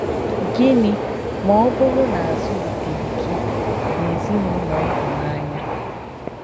Gịnị ma ọ bụrụ na a zụliteghị gị n'ezinụlọ ịhụnanya?